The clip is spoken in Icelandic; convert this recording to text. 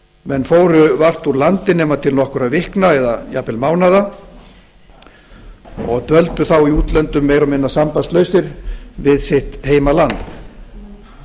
menn fóru vart úr landi nema til nokkurra vikna eða jafnvel mánaða og dvöldu þá í útlöndum meira og minna sambandslausir við sitt heimaland